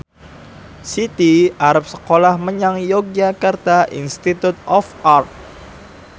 Siti arep sekolah menyang Yogyakarta Institute of Art